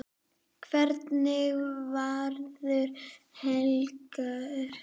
Hvernig verður helgin?